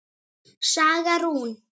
Saga Rún.